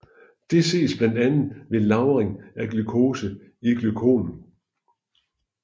Dette ses blandt andet ved lagring af glucose i glykogen